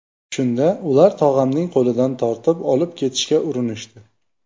Shunda ular tog‘amning qo‘lidan tortib, olib ketishga urinishdi.